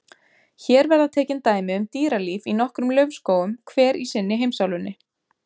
Hér verða tekin dæmi um dýralíf í nokkrum laufskógum, hver í sinni heimsálfunni.